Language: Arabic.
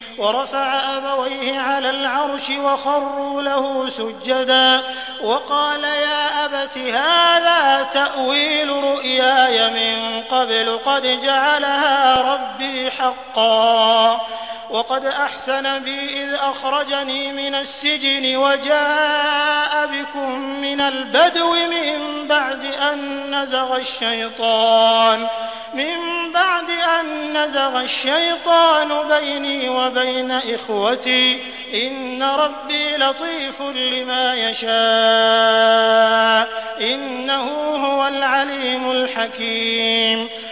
وَرَفَعَ أَبَوَيْهِ عَلَى الْعَرْشِ وَخَرُّوا لَهُ سُجَّدًا ۖ وَقَالَ يَا أَبَتِ هَٰذَا تَأْوِيلُ رُؤْيَايَ مِن قَبْلُ قَدْ جَعَلَهَا رَبِّي حَقًّا ۖ وَقَدْ أَحْسَنَ بِي إِذْ أَخْرَجَنِي مِنَ السِّجْنِ وَجَاءَ بِكُم مِّنَ الْبَدْوِ مِن بَعْدِ أَن نَّزَغَ الشَّيْطَانُ بَيْنِي وَبَيْنَ إِخْوَتِي ۚ إِنَّ رَبِّي لَطِيفٌ لِّمَا يَشَاءُ ۚ إِنَّهُ هُوَ الْعَلِيمُ الْحَكِيمُ